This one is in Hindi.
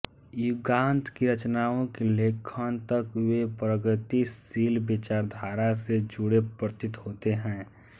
युगांत की रचनाओं के लेखन तक वे प्रगतिशील विचारधारा से जुडे प्रतीत होते हैं